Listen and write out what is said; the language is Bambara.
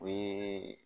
O ye